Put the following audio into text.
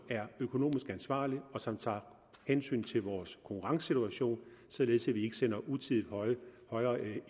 er økonomisk ansvarlig og som tager hensyn til vores konkurrencesituation således at vi ikke sender en utidigt højere